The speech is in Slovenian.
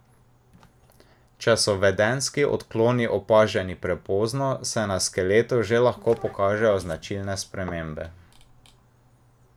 Če so vedenjski odkloni opaženi prepozno, se na skeletu že lahko pokažejo značilne spremembe.